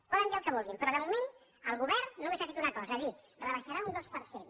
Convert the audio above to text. poden dir el que vulguin però de moment el govern només ha fet una cosa dir rebaixarà un dos per cent